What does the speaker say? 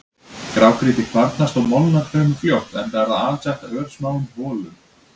Grágrýti kvarnast og molnar fremur fljótt enda er það alsett örsmáum holum.